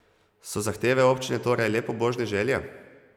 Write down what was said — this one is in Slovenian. So zahteve občine torej le pobožne želje?